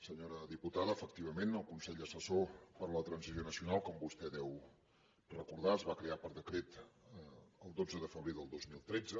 senyora diputada efectivament el consell assessor per a la transició nacional com vostè deu recordar es va crear per decret el dotze de febrer del dos mil tretze